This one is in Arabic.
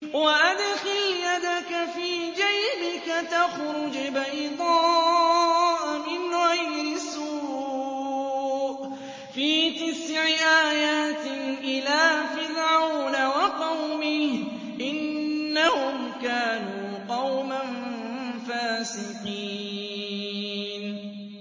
وَأَدْخِلْ يَدَكَ فِي جَيْبِكَ تَخْرُجْ بَيْضَاءَ مِنْ غَيْرِ سُوءٍ ۖ فِي تِسْعِ آيَاتٍ إِلَىٰ فِرْعَوْنَ وَقَوْمِهِ ۚ إِنَّهُمْ كَانُوا قَوْمًا فَاسِقِينَ